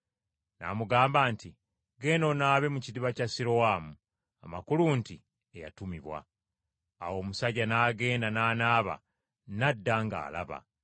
N’amugamba nti, “Genda onaabe mu kidiba kya Sirowamu,” amakulu nti, “Eyatumibwa”. Awo omusajja n’agenda, n’anaaba, n’adda ng’alaba.